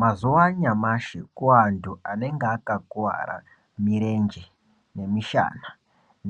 Mazuwa anyamashi kuantu anenge akakuwara mirenje nemishana